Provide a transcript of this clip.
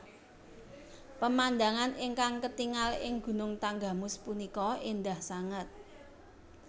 Pemandangan ingkang ketingal ing Gunung Tanggamus punika endah sanget